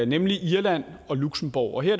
nemlig irland og luxembourg her